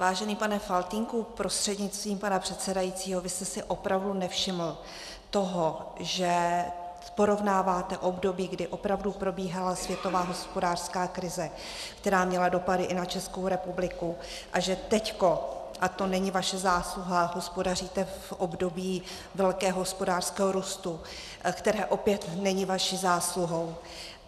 Vážený pane Faltýnku prostřednictvím pana předsedajícího, vy jste si opravdu nevšiml toho, že porovnáváte období, kdy opravdu probíhala světová hospodářská krize, která měla dopady i na Českou republiku, a že teď, a to není vaše zásluha, hospodaříte v období velkého hospodářského růstu, který opět není vaší zásluhou?